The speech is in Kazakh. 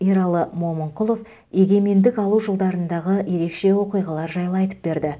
ералы момынқұлов егемендік алу жылдарындағы ерекше оқиғалар жайлы айтып берді